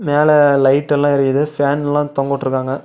மேல லைட்டெல்லா எரியிது ஃபேன்லா தொங்கவுட்டுருக்காங்க.